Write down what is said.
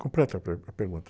Completa a per, a pergunta.